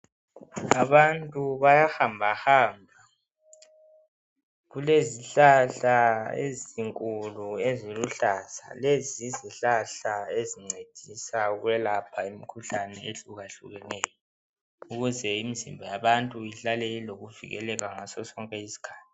Abantu bayahamba hamba kulezihlahla ezinkulu eziluhlaza, lezi yizihlahla ezincedisa ukwelapha imikhuhlane ehluka hlukeneyo ukuze imizimba yabantu ihlale ilokuvikeleka ngasosonke isikhathi.